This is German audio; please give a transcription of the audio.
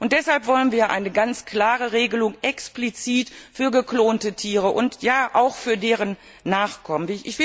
Deshalb wollen wir eine ganz klare Regelung explizit für geklonte Tiere und auch für deren Nachkommen.